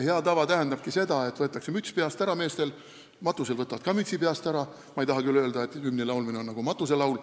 Hea tava tähendabki seda, et mehed võtavad siis mütsi peast ära, nii nagu nad ka matustel mütsi peast ära võtavad – ma ei taha küll öelda, et hümn on nagu matuselaul.